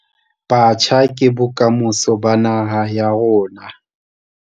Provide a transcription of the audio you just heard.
Batjha ke bokamoso ba naha ya rona.